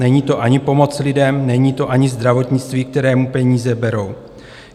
Není to ani pomoc lidem, není to ani zdravotnictví, kterému peníze berou.